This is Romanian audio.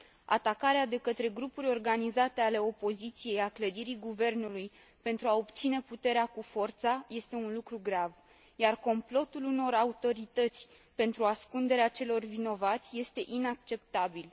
Atacarea de către grupuri organizate ale opoziției a clădirii guvernului pentru a obține puterea cu forța este un lucru grav, iar complotul unor autorități pentru ascunderea celor vinovați este inacceptabil.